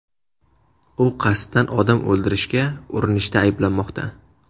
U qasddan odam o‘ldirishga urinishda ayblanmoqda.